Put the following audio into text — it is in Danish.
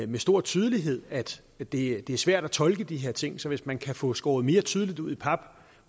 med stor tydelighed at det er svært at tolke de her ting så hvis man kan få skåret mere tydeligt ud i pap